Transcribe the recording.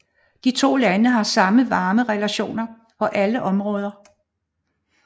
De to lande har haft varme relationer på alle områder